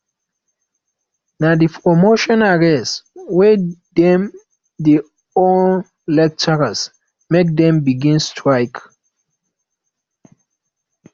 na di promotion arrears wey dem dey owe lecturers make dem begin strike